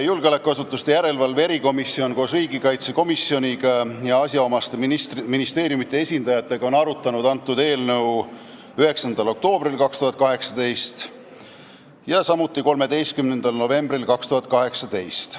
Julgeolekuasutuste järelevalve erikomisjon koos riigikaitsekomisjoniga ja asjaomaste ministeeriumide esindajatega arutas antud eelnõu 9. oktoobril ja 13. novembril 2018.